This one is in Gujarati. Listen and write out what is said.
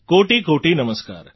કોટિકોટિ નમસ્કાર